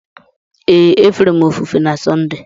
Ee, e fere m ofufe na Sọnde.